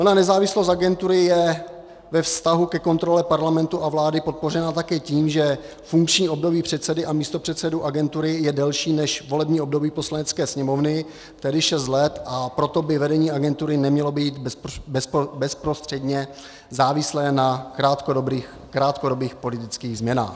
Ona nezávislost agentury je ve vztahu ke kontrole Parlamentu a vlády podpořena také tím, že funkční období předsedy a místopředsedů agentury je delší než volební období Poslanecké sněmovny, tedy šest let, a proto by vedení agentury nemělo být bezprostředně závislé na krátkodobých politických změnách.